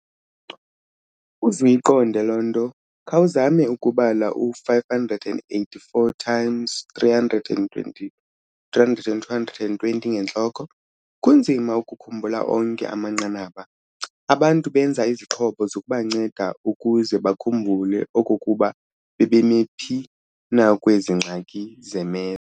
Uzuyiqonde loo nto, khawuzame ukubala u-584 x 320 300 220 ngentloko. kunzima ukukhumbula onke amanqanaba! Abantu benza izixhobo zokubanceda ukuze bakhumbule okokuba bebemi phi na kwezi ngxaki ze-maths.